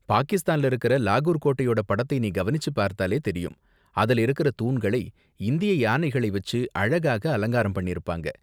பாகிஸ்தான்ல இருக்கற லாகூர் கோட்டையோட படத்தை நீ கவனிச்சு பார்த்தாலே தெரியும், அதுல இருக்குற தூண்களை இந்திய யானைகளை வச்சு அழகாக அலங்காரம் பண்ணிருப்பாங்க.